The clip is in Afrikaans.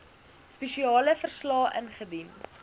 spesiale verslae ingedien